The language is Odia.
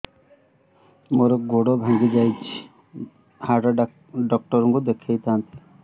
ମୋର ଗୋଡ ଭାଙ୍ଗି ଯାଇଛି ହାଡ ଡକ୍ଟର ଙ୍କୁ ଦେଖେଇ ଥାନ୍ତି